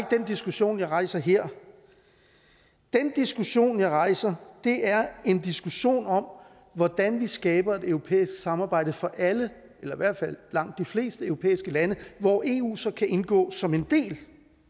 den diskussion jeg rejser her den diskussion jeg rejser er en diskussion om hvordan vi skaber et europæisk samarbejde for alle eller i hvert fald langt de fleste europæiske lande hvor eu så kan indgå som en del